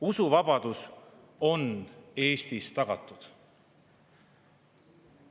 Usuvabadus on Eestis tagatud.